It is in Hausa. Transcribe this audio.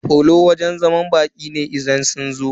Falo wajen zaman baƙi ne idan sun zo.